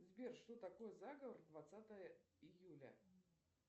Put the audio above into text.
сбер что такое заговор двадцатое июля